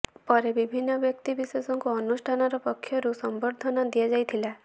ପରେ ବିଭିନ୍ନ ବ୍ୟକ୍ତି ବିଶେଷଙ୍କୁ ଅନୁଷ୍ଠାନର ପକ୍ଷରୁ ସମ୍ବର୍ଦ୍ଧନା ଦିଆଯାଇଥିଲା